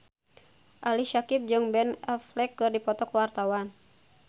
Ali Syakieb jeung Ben Affleck keur dipoto ku wartawan